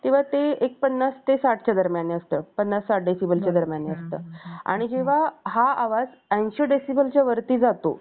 तेव्हा ते एक पन्नास ते साठच्या दरम्यान असतो पन्नास साठ Decibel च्या दरम्यान असते आणि जेव्हा हा आवाज ऐंशी Decibel च्या वरती जातो